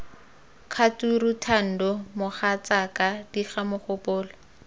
kgature thando mogatsaka diga mogopolo